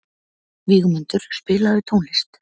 Vígmundur, spilaðu tónlist.